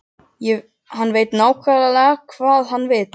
Hann veit líka nákvæmlega hvað hann vill.